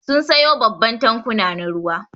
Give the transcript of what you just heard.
Sun siyo babban tankuna na ruwa.